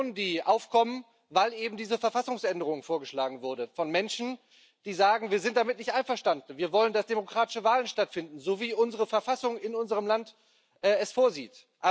Demonstrationen, die aufkommen, weil eben diese Verfassungsänderung vorgeschlagen wurde, und das sind Menschen, die sagen Wir sind damit nicht einverstanden, wir wollen, dass demokratische Wahlen stattfinden, so wie unsere Verfassung in unserem Land es vorsieht.